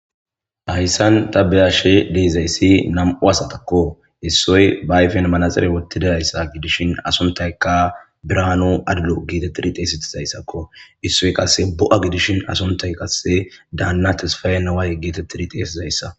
hayssan ta beashe deezayssi nam7u asatakko issoy baayfen manaxire wottidayssa gidishin asuntaykka biraano adlo geetettiriteesitizayssakko issoy qasse bo7a gidishin asuntay qasse daanna tisfayeneway geetettiri teesizayssa